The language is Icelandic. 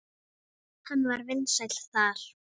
Hann var vinsæll þar.